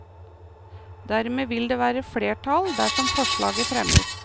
Dermed vil det være flertall dersom forslaget fremmes.